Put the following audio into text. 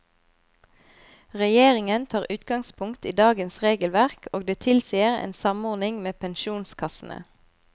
Regjeringen tar utgangspunkt i dagens regelverk, og det tilsier en samordning med pensjonskassene.